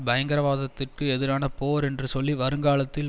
பயங்கரவாதத்திற்கு எதிரான போர் என்று சொல்லி வருங்காலத்தில்